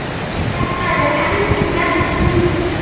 Þetta eru helstu gerðir gítars